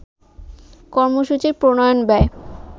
কর্মসূচির প্রণয়ন ব্যয়